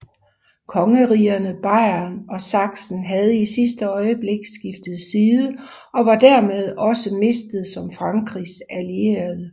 Kongerigerne Bayern og Sachsen havde i sidste øjeblik skiftet side og var dermed også mistet som Frankrigs allierede